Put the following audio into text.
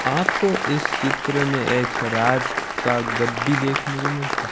आपको इस चित्र में एक राज का गड्डी देखने को मिलता है।